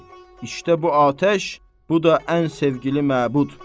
Al, işte bu atəş, bu da ən sevgili məbud.